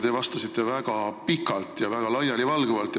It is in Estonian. Te vastasite väga pikalt ja väga laialivalguvalt.